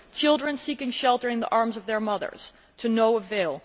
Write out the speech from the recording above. Children seek shelter in the arms of their mothers to no avail